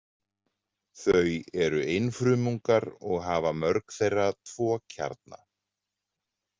Þau eru einfrumungar og hafa mörg þeirra tvo kjarna.